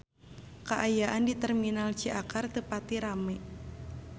Kaayaan di Terminal Ciakar teu pati rame